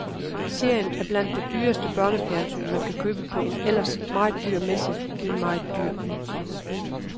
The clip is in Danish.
Serien er blandt det dyreste børnefjernsyn, man kan købe på en ellers meget dyr messe i en meget dyr by.